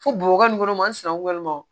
Fo bobɔ nin kɛnɛ masina ma